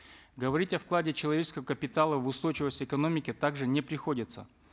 говорить о вкладе человеческого капитала в устойчивость экономики также не приходится